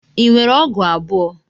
Ị nwere ọgụ abụọ?